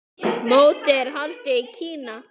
Mótið er haldið í Kína.